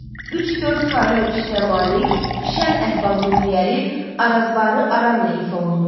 Üç-dörd xanə ölçüsünə malik, şən əhval-ruhiyyəli Arazbarı aramla ifa olunur.